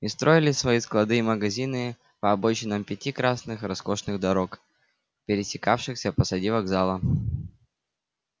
и строили свои склады и магазины по обочинам пяти красных раскошных дорог пересекавшихся позади вокзала